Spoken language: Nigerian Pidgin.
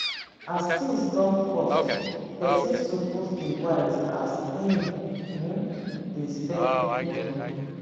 as tins don cost pesin suppose dey wise as im um dey spend moni.